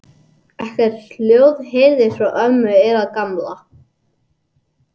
Ekkert hljóð heyrðist frá ömmu eða Gamla.